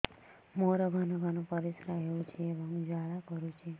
ମୋର ଘନ ଘନ ପରିଶ୍ରା ହେଉଛି ଏବଂ ଜ୍ୱାଳା କରୁଛି